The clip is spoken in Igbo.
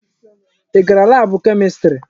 Ị gara laabụ Kemistri?